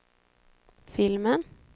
filmen